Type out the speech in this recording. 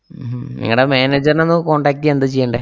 ഉം നിങ്ങടെ manager നൊന്നു contact എയ്യാൻ എന്താ ചെയ്യണ്ടേ?